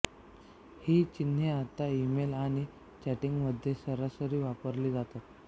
ही चिन्हेआता ईमेल आणि चॅटींगमध्ये सरआस वापरली जातात